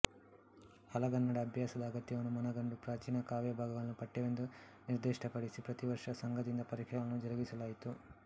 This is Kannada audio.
ಹಳಗನ್ನಡ ಅಭ್ಯಾಸದ ಅಗತ್ಯವನ್ನು ಮನಗಂಡು ಪ್ರಾಚೀನ ಕಾವ್ಯ ಭಾಗಗಳನ್ನು ಪಠ್ಯವೆಂದು ನಿರ್ದಿಷ್ಟಪಡಿಸಿ ಪ್ರತಿವರ್ಷ ಸಂಘದಿಂದ ಪರೀಕ್ಷೆಗಳನ್ನು ಜರುಗಿಸಲಾಯಿತು